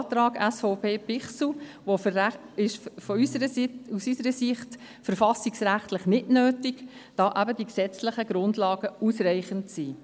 Auch ist der Antrag SVP/Bichsel aus unserer Sicht verfassungsrechtlich nicht nötig, da eben die gesetzlichen Grundlagen ausreichend sind.